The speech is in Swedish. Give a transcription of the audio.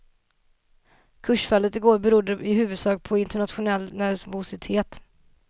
Kursfallet i går berodde i huvudsak på internationell nervositet.